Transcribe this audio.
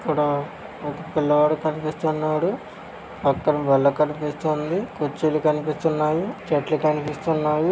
ఇక్కడ ఒక పిల్లవాడు కనిపిస్తున్నాడు. పక్కన బల్ల కనిపిస్తోంది. కుర్చీలు కనిపిస్తున్నాయి. చేట్లు కనిపిస్తున్నాయి.